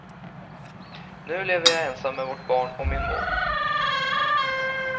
Nu lever jag ensam med vårt barn och min mor.